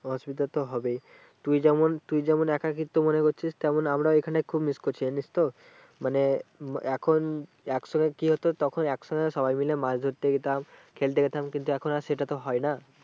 অসুবিধা তো হবেই তুই যেমন তুই যেমন একাকিত্ব মনে করছিস তেমন আমরাও এখানে খুব miss করছি জানিস তো। মানে উম এখন এক সময় কি হতো তখন এক সঙ্গে সবাই মিলে মাছ ধরতে যেতাম খেলতে যেতাম কিন্তু এখন আর সেটা তো হয় না।